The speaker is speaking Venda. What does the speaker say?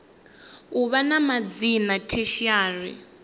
u vha na madzina tertiary